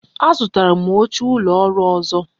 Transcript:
A zụtara m oche ụlọ ọrụ ọzọ